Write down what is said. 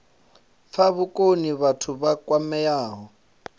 fha vhukoni vhathu vha kwameaho